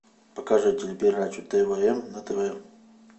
покажи телепередачу твм на тв